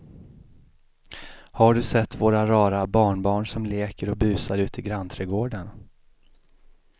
Har du sett våra rara barnbarn som leker och busar ute i grannträdgården!